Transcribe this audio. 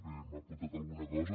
bé m’ha apuntat alguna cosa